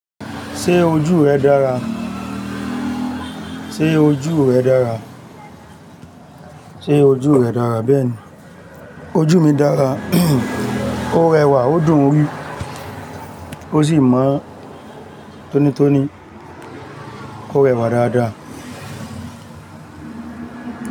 Ṣé ojú rẹ dára? Ṣé ojú rẹ dára? Ṣé ojú rẹ dára bẹ́ẹ̀ni. Ojú mi dára, ó rẹwà ó dùn-ún rí ó sì mọ́ tónítóní ó rẹwà dáadáa.